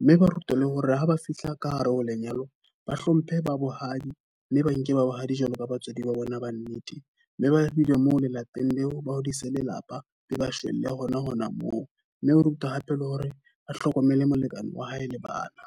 Mme ba rutwa le hore ha ba fihla ka hare ho lenyalong ba hlomphe ba bohadi. Mme ba nke ba bohadi jwalo ka batswadi ba bona ba nnete. Mme ba filwe moo le lapeng leo ba hodise lelapa, be ba shwelle hona hona moo. Mme o ruta hape le hore ba hlokomele molekane wa hae le bana.